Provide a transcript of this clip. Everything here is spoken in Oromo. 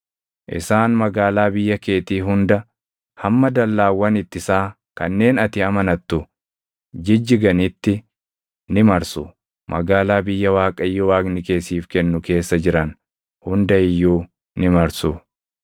Isaan magaalaa biyya keetii hunda hamma dallaawwan ittisaa kanneen ati amanattu jijjiganitti ni marsu; magaalaa biyya Waaqayyo Waaqni kee siif kennu keessa jiran hunda iyyuu ni marsu.